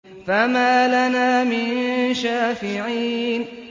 فَمَا لَنَا مِن شَافِعِينَ